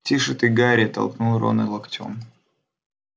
тише ты гарри толкнул рона локтём